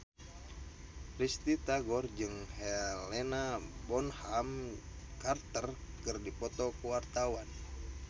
Risty Tagor jeung Helena Bonham Carter keur dipoto ku wartawan